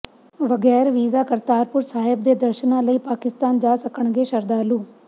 ਵਗ਼ੈਰ visa Kartarpur Sahib ਦੇ ਦਰਸ਼ਨਾਂ ਲਈ ਪਾਕਿਸਤਾਨ ਜਾ ਸਕਣਗੇ ਸ਼ਰਧਾਲੂ